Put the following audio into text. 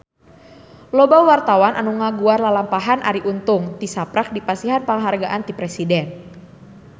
Loba wartawan anu ngaguar lalampahan Arie Untung tisaprak dipasihan panghargaan ti Presiden